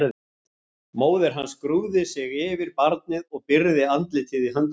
Móðir hans grúfði sig yfir barnið og byrgði andlitið í höndum sér.